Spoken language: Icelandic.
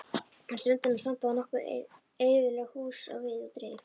Við ströndina standa nokkur eyðileg hús á víð og dreif.